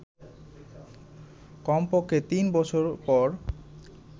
কমপক্ষে তিন বছর পর